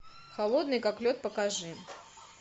холодный как лед покажи